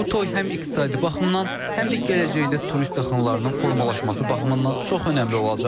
Bu toy həm iqtisadi baxımdan, həm də gələcəkdə turist axınlarının formalaşması baxımından çox önəmli olacaq.